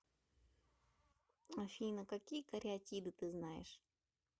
афина какие кариатиды ты знаешь